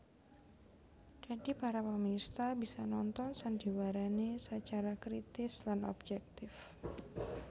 Dadi para pamirsa bisa nonton sandiwarané sacara kritis lan objèktif